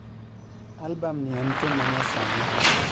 Albam ni en thum manya sani